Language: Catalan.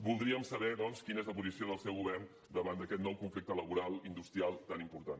voldríem saber doncs quina és la posició del seu govern davant d’aquest nou conflicte laboral industrial tan important